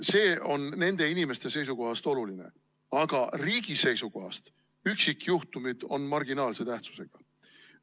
See on nende inimeste seisukohast oluline, aga riigi seisukohast on üksikjuhtumid marginaalse tähtsusega.